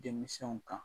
Denmisɛnw kan